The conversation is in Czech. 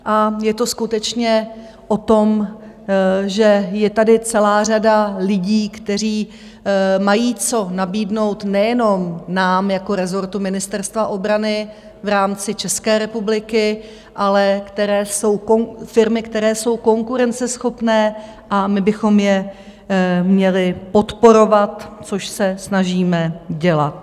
A je to skutečně o tom, že je tady celá řada lidí, kteří mají co nabídnout nejenom nám jako rezortu Ministerstva obrany v rámci České republiky, ale firmy, které jsou konkurenceschopné, a my bychom je měli podporovat, což se snažíme dělat.